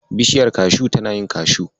Bishiyar kashu tana yin kashu.